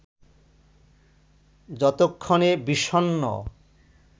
যতক্ষণে বিষণ্ণ